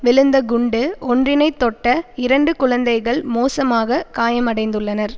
விழுந்த குண்டு ஒன்றினைத்தொட்ட இரண்டு குழந்தைகள் மோசமாக காயமடைந்துள்ளனர்